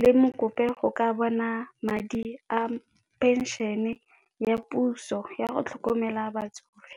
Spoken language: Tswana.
le mo kope go ka bona madi a phenšene ya puso yago tlhokomela batsofe.